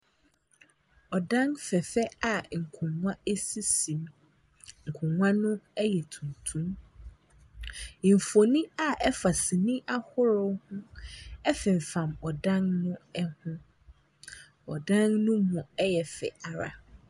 Ɔdan fɛfɛ a akongua esisi mu. Ɛkongua no yɛ tuntum. Nfoni a ɛfa sini ahorow ho ɛfimfam ɔdan ni ho. Ɔdan ne nu yɛ fɛ ara.